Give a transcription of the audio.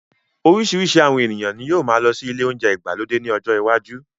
Orísirísi àwọn èèyàn ní yóó máa ṣí ile ounjẹ ìgbàlódé ní ọjọ iwájú